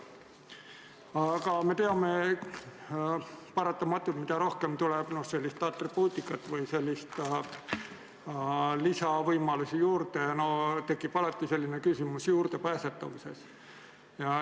Aga me teame, et mida rohkem tuleb sellist atribuutikat või selliseid lisavõimalusi juurde, seda enam tekib paratamatult küsimus juurdepääsetavusest.